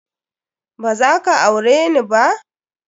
Ba za ka aure ni ba?